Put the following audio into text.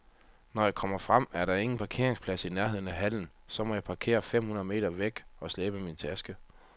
Når jeg kommer frem, er der ingen parkeringsplads i nærheden af hallen, så jeg må parkere fem hundrede meter væk og slæbe min taske.